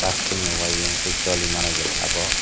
plastic ni uaying tei choli manai jat abo.